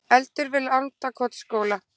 Eldur við Landakotsskóla